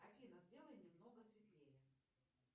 афина сделай немного светлее